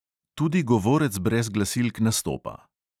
Tudi govorec brez glasilk nastopa!